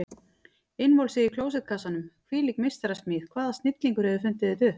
Innvolsið í klósettkassanum, hvílík meistarasmíð, hvaða snillingur hefur fundið þetta upp?